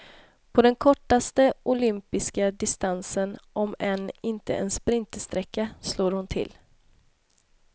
På den kortaste olympiska distansen, om än inte en sprintersträcka, slår hon till.